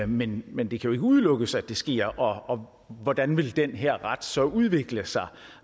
men men det kan udelukkes at det sker og hvordan vil den her ret så udvikle sig